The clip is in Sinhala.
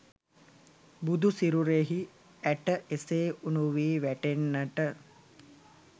බුදු සිරුරෙහි ඇට එසේ උණු වී වැටෙන්නට